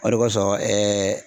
O de kɔsɔn